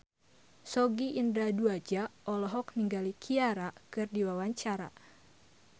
Sogi Indra Duaja olohok ningali Ciara keur diwawancara